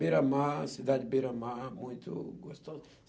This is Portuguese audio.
Beira-mar, cidade Beira-mar, muito gostosa.